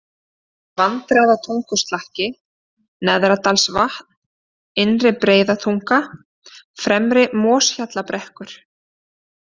Vandræðatunguslakki, Neðradalsvatn, Innri-Breiðatunga, Fremri-Moshjallabrekkur